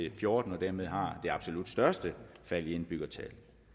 og fjorten og dermed har det absolut største fald i indbyggertal